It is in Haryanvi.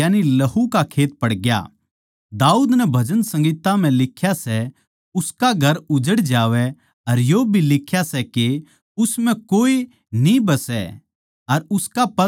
दाऊद नै भजन संहिता म्ह लिख्या सै उसका घर उजड़ जावै अर यो भी लिख्या सै के उस म्ह कोए न्ही बसै अर उसका ओद्दा कोए और ले लेवै